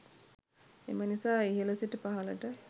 එම නිසා ඉහල සිට පහලට